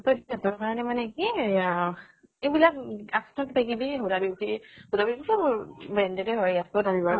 কাৰণে মানে কি এয়া এইবিলাক huda beauty huda beauty টো উ branded হয়